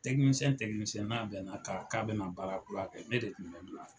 nina bɛna a kan, k'a bina baara kura kɛ ne de tun bɛ